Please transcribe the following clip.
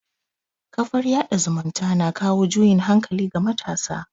kafar yada zumunta na kawo juyin hankali ga matasa